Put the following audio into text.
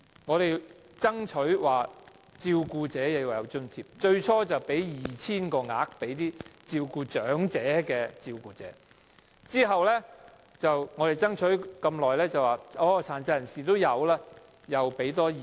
我們爭取向照顧者提供津貼，最初政府向 2,000 名長者照顧者提供津貼，在我們爭取很久後，政府再向 2,000 名殘疾人士照顧者提供津貼。